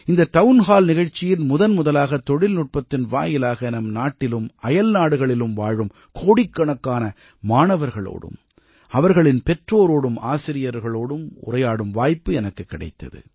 இந்த town hall நிகழ்ச்சியில் முதன்முதலாக தொழில்நுட்பத்தின் வாயிலாக நம் நாட்டிலும் அயல்நாடுகளிலும் வாழும் கோடிக்கணக்கான மாணவர்களோடும் அவர்களின் பெற்றோரோடும் ஆசிரியர்களோடும் உரையாடும் வாய்ப்பு எனக்குக் கிடைத்தது